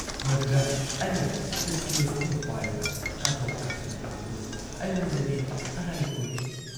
ꯃꯗꯨꯗ ꯑꯩꯅ ꯁꯨꯠꯀꯦꯁ ꯑꯃ ꯄꯥꯏꯔꯒ ꯀꯥꯊꯣꯛ ꯀꯥꯁꯤꯟ ꯇꯧꯕꯗꯨ ꯑꯩꯉꯣꯟꯗꯗꯤ ꯑꯔꯥꯏꯕ ꯑꯣꯏꯗꯦ ꯫